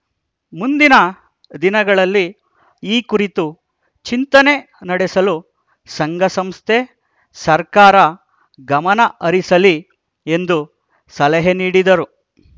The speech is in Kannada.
ಮುಂದಿನ ದಿನಗಳಲ್ಲಿ ಈ ಕುರಿತು ಚಿಂತನೆ ನಡೆಸಲು ಸಂಘಸಂಸ್ಥೆ ಸರ್ಕಾರ ಗಮನ ಹರಿಸಲಿ ಎಂದು ಸಲಹೆ ನೀಡಿದರು